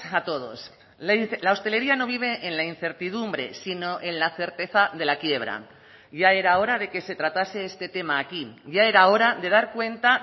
a todos la hostelería no vive en la incertidumbre sino en la certeza de la quiebra ya era hora de que se tratase este tema aquí ya era hora de dar cuenta